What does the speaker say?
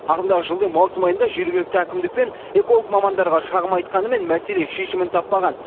ағымдағы жылдың маусым айында жергілікті әкімдік пен эколог мамандарға шағым айтқанымен мәселе шешімін таппаған